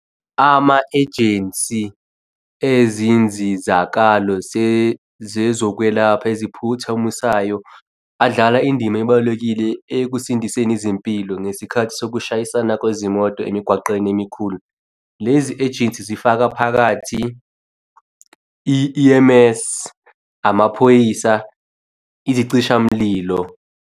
Ama-ejensi ezinzizakalo zezokwelapha eziphuthumisayo adlala indima ebalulekile ekusindiseni izimpilo ngesikhathi sokushayisana kwezimoto emigwaqeni emikhulu. Lezi ejensi zifaka phakathi i-E_M_S, amaphoyisa izicishamlilo.